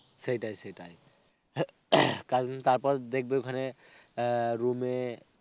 সেটাই সেটাই. তারপর দেখবে ওখানে আহ room এ.